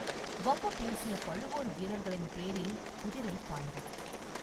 வம்பு பேசிய பழுவூர் வீரர்களின் பேரில் குதிரை பாய்ந்தது.